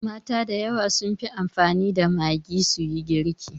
Mata da yawa sun fi amfani da Maggi su yi girki.